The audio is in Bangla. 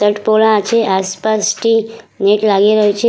শার্ট পরা আছে আশপাশটি নেট লাগিয়ে রয়েছে ।